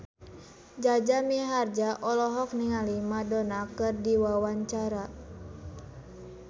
Jaja Mihardja olohok ningali Madonna keur diwawancara